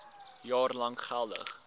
jaar lank geldig